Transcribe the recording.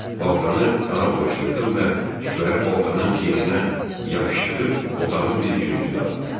Baltanı qana bulaşdırdım və tükləri baltanın tiyəsinə yapışdırıb otağın bir küncünə atdım.